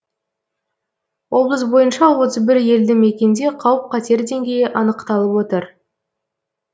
облыс бойынша отыз бір елді мекенде қауіп қатер деңгейі анықталып отыр